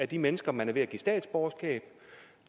de mennesker man er ved at give statsborgerskab